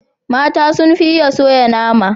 Mata sun fi iya soya nama.